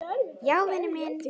Jæja, vinur minn.